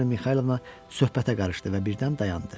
Aleksandra Mixaylovna söhbətə qarışdı və birdən dayandı.